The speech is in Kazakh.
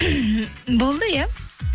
болды иә